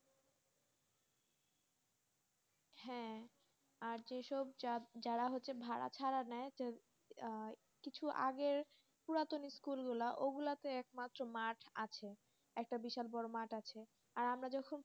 হ্যাঁ আর যে সব যারা ভাড়া ছাড়া নাই আর কিছু আগে পুরাতন school গুলা ওগুলাটু একমাত্র মাঠ আছে একটা বিশাল বড়ো মাঠ আছে